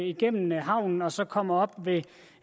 igennem havnen og som så kommer op